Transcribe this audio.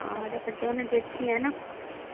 ਹਾਂ, ਹਜੇ ਕੱਢਿਆ ਨੀ ਜੇਠੀ ਐ ਨਾ।